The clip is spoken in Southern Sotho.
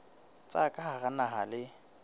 tsa ka hara naha le